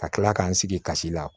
Ka kila k'an sigi kasi la